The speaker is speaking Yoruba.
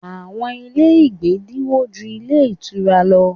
Àwọn ilé ìgbé dínwó ju ilé ìtura lọ.